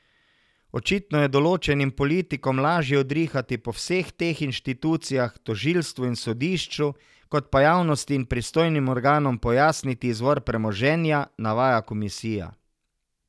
Očitno je določenim politikom lažje udrihati po vseh teh inštitucijah, tožilstvu in sodišču, kot pa javnosti in pristojnim organom pojasniti izvor premoženja, navaja komisija.